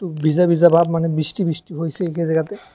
বিজা বিজা ভাব মানে বিষ্টি বিষ্টি হইসে একই জাগাতে।